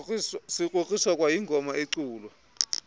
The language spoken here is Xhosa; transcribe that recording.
sikrokriswa kwayingoma eculwa